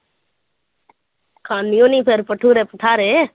ਖਾਂਦੀ ਹੋਣੀ ਫਿਰ ਭਟੂਰੇ ਭਟਾਰੇ।